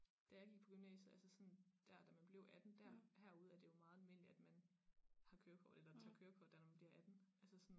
Da jeg gik på gymnasiet altså sådan dér da man blev 18 der herude er det jo meget almindeligt at man har kørekort eller tager kørekort da man bliver 18 altså sådan